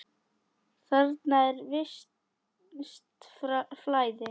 Þarna er visst flæði.